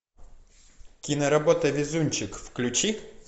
киноработа везунчик включи